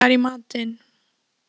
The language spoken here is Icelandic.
Dennis, hvað er í matinn?